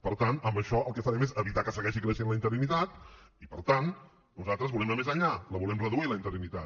per tant amb això el que farem és evitar que segueixi creixent la interinitat i per tant nosaltres volem anar més enllà la volem reduir la interinitat